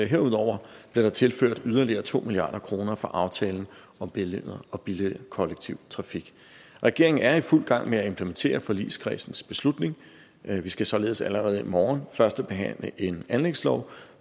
herudover blev der tilført yderligere to milliard kroner fra aftalen om bedre og billigere kollektiv trafik regeringen er i fuld gang med at implementere forligskredsens beslutning vi vi skal således allerede i morgen førstebehandle en anlægslov